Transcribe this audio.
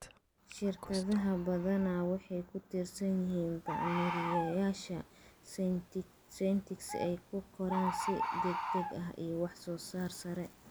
Shirkadaha badanaa waxay ku tiirsan yihiin bacrimiyeyaasha synthetic si ay u koraan si degdeg ah iyo wax soo saar sare.